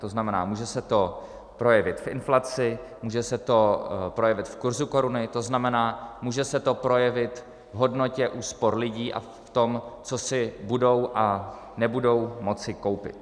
To znamená, může se to projevit v inflaci, může se to projevit v kurzu koruny, to znamená, může se to projevit v hodnotě úspor lidí a v tom, co si budou a nebudou moci koupit.